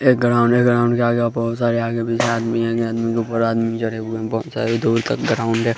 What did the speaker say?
एक ग्राउंड है ग्राउंड के आगे बहोत सारे आगे पीछे आदमी है बहोत सारे दूर तक ग्राउंड है।